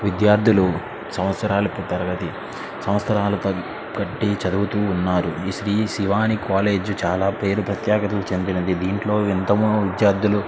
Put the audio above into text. విద్యార్థులు సంవత్సరాలు తరబడి సంవత్సరాలు బట్టి చదువుతున్నారు ఈ శ్రీ శివాని కాలేజీ చాల ప్రఖ్యాతమైనది దీంటిలో ఎంత మంది విద్యార్థులు--